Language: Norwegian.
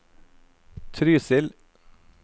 Trysil